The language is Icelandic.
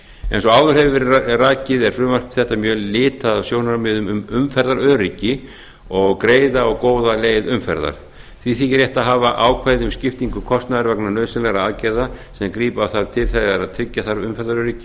eins og áður hefur verið rakið er frumvarp þetta mjög litað af sjónarmiðum um umferðaröryggi og greiða og góða leið umferðar því þykir rétt að hafa ákvæði um skiptingu kostnaðar vegna nauðsynlegra aðgerða sem grípa þarf til þegar tryggja þarf umferðaröryggi